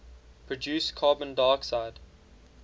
produce carbon dioxide